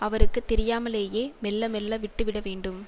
அவருக்கு தெரியாமலேயே மெல்ல மெல்ல விட்டு விட வேண்டும்